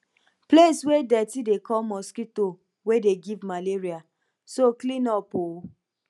place wey dirty dey call mosquito wey dey give malaria so clean up oo